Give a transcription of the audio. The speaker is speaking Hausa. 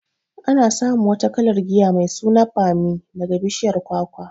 Ana samun wata kalar giya mai suna bammi daga bishiyar kwakwa.